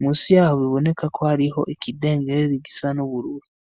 Munsi yaho biboneka ko hariho ikidenderi gisa n'ubururu.